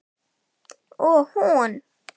Og hún?